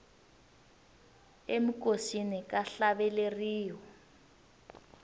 eminkosini ka hlaveleriwa